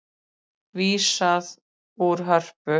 Vísað úr Hörpu